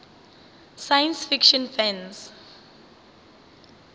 science fiction fans